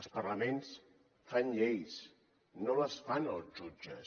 els parlaments fan lleis no les fan els jutges